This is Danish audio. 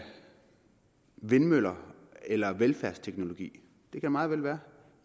vindmøller eller af velfærdsteknologi det kan meget vel være